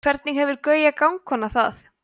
hvernig hefur gauja gangkona það